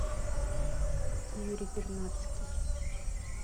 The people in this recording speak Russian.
юрий пернатский